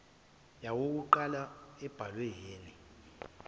yowokuqala embhalwe ni